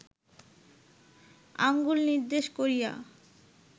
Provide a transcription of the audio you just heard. আঙুল নির্দেশ করিয়া